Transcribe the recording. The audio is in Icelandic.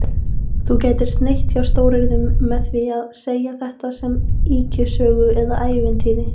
Þú gætir sneitt hjá stóryrðunum með því að segja þetta sem ýkjusögu eða ævintýri